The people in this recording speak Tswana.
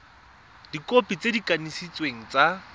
dikhopi tse di kanisitsweng tsa